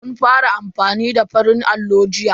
Mun fara amfani da farin allo jiya.